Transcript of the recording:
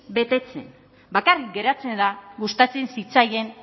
betetzen bakarrik geratzen da gustatzen zitzaien